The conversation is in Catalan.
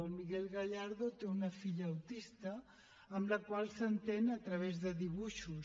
el miguel gallardo té una filla autista amb la qual s’entén a través de dibuixos